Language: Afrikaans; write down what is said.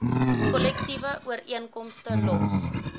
kollektiewe ooreenkomste los